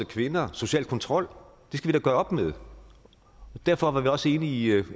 kvinder og social kontrol skal vi da gøre op med derfor var vi også enige